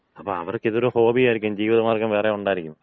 അപ്പൊ അവർക്കിതൊരു ഹോബിയായിരിക്കും, ജീവിതമാർഗം വേറെ ഉണ്ടായിരിക്കും.